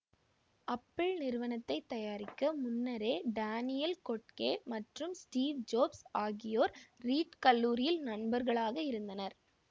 Apple நிறுவனத்தை தயாரிக்க முன்னரே டானியல் கொட்கே மற்றும் ஸ்டீவ் ஜொப்ஸ் ஆகியோர் ரீட் கல்லூரியில் நண்பர்களாக இருந்தனர்